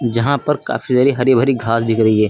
यहां पर काफी सारी हरी भरी घास दिख रही है।